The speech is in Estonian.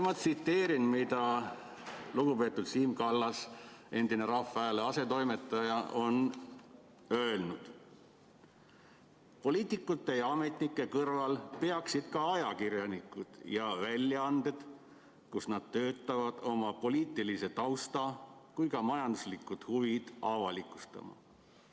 Ma tsiteerin, mida lugupeetud Siim Kallas, endine Rahva Hääle asetoimetaja, on öelnud: "Poliitikute ja ametnike kõrval peaksid ka ajakirjanikud ja väljaanded, kus nad töötavad, oma poliitilise tausta kui ka majanduslikud huvid avalikustama.